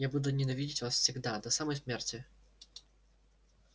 я буду ненавидеть вас всегда до самой смерти